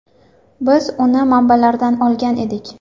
Biz uni manbalardan olgan edik.